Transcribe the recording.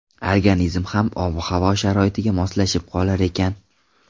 Organizm ham ob-havo sharoitiga moslashib qolar ekan.